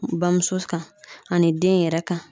Bamuso kan ani den yɛrɛ kan